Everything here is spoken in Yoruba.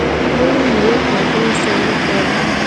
ó rí ìwé kan tó sọ nípa bí